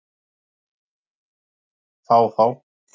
Fá þá?